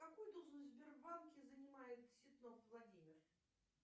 какую должность в сбербанке занимает ситнов владимир